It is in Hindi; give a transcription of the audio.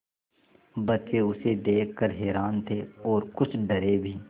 बच्चे उसे देख कर हैरान थे और कुछ डरे भी